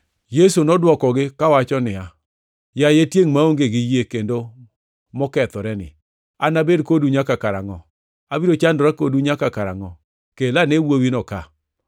Yesu nodwokogi kawacho niya, “Yaye tiengʼ maonge gi yie kendo mokethoreni, anabed kodu nyaka karangʼo? Abiro chandora kodu nyaka karangʼo? Kel ane wuowino ka.”